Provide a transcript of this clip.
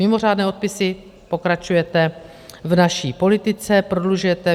Mimořádné odpisy - pokračujete v naší politice, prodlužujete.